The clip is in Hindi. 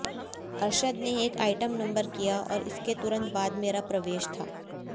अरशद ने एक आइटम नंबर किया और इसके तुरंत बाद मेरा प्रवेश था